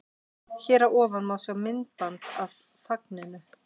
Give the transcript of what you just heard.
Hér að ofan má sjá myndband af fagninu.